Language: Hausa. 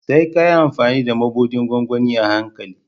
Sai ka yi amfani da mabuɗin gwangwani a hankali.